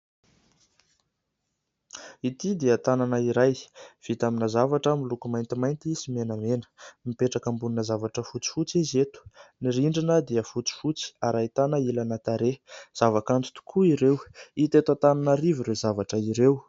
Ity dia tanana iray vita amina zavatra miloko maintimainty sy menamena, mipetraka ambonina zavatra fotsifotsy izy eto. Ny rindrina dia fotsifotsy, ary ahitana ilana tarehy. Zavakanto tokoa ireo. Hita eto Antananarivo ireo zavatra ireo.